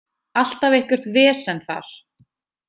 Alltaf eitthvert vesen þar.